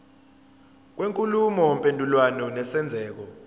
kwenkulumo mpendulwano nesenzeko